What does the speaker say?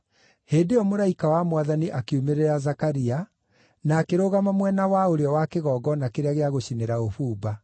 Hĩndĩ ĩyo mũraika wa Mwathani akiumĩrĩra Zakaria, na akĩrũgama mwena wa ũrĩo wa kĩgongona kĩrĩa gĩa gũcinĩra ũbumba.